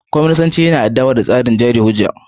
Kwaminisanci yana adawa da tsarin jari hujja.